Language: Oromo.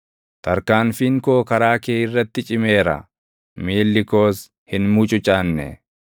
Tarkaanfiin koo karaa kee irratti cimeera; miilli koos hin mucucaanne.